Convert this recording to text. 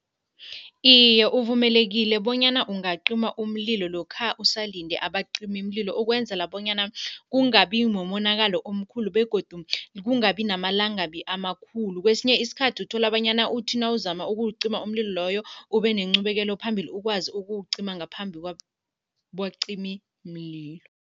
Iye, uvumelekile bonyana ungacima umlilo lokha usalinde abacimimlilo, ukwenzela bonyana kungabi mumonakalo omkhulu begodu kungabi namalangabi amakhulu. Kwesinye isikhathi uthola bonyana uthi nawuzama ukuwucima umlilo loyo, ube nenqubekelo phambili, ukwazi ukuwucima ngaphambi kwabacimimlilo.